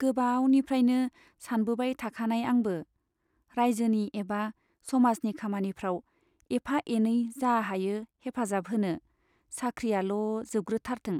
गोबावनिफ्राइनो सानबोबाय थाखानाय आंबो, राइजोनि एबा समाजनि खामानिफ्राव एफा एनै जा हायो हेफाजाब होनो, साख्रियाल' जोबग्रोथारथों।